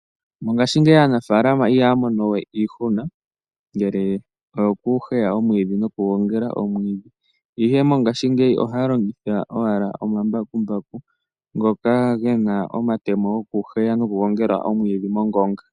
Mongaashingeyi aanafalama ihaya mono we iihuna ngele oyo ku heya omwiidhi nokugongela omwiidhi, ihe mongaashingeyi ohaya longitha omambakumbaku ngoka gena omatemo gokuheya noku gongela omwiidhi moongonga.